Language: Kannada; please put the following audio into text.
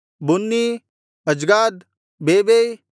ಬುನ್ನೀ ಅಜ್ಗಾದ್ ಬೇಬೈ